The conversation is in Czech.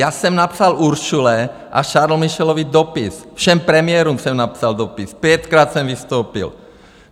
Já jsem napsal Ursule a Charlesovi Michelovi dopis, všem premiérům jsem napsal dopis, pětkrát jsem vystoupil.